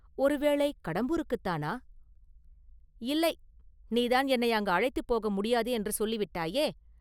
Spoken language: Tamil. ஒருவேலை கடம்பூருக்குத்தானா?” “இல்லை; நீதான் என்னை அங்கு அழைத்துப் போக முடியாது என்று சொல்லிவிட்டாயே?